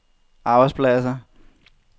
arbejdspladser